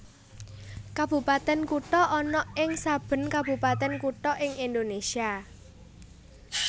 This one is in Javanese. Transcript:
Kabupatèn Kutha ana ing saben kabupatèn kutha ing Indonésia